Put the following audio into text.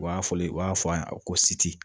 U b'a fɔlen u b'a fɔ a ko siti